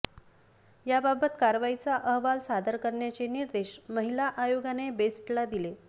याबाबत कारवाईचा अहवाल सादर करण्याचे निर्देश महिला आयोगाने बेस्टला दिले